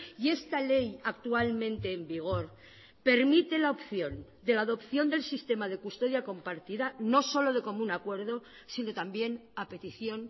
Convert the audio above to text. y esta ley actualmente en vigor permite la opción de la adopción del sistema de custodia compartida no solo de común acuerdo sino también a petición